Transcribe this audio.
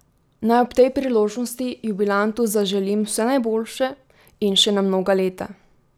Naj ob tej priložnosti jubilantu zaželim vse najboljše in še na mnoga leta!